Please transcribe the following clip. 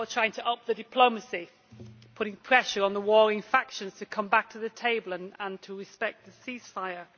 You are trying to up the diplomacy, putting pressure on the warring factions to come back to the table and to respect the ceasefire.